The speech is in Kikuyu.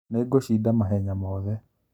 Nĩngũcinda mahenya mothe